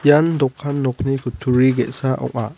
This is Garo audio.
ian dokan nokni kutturi ge·sa ong·a.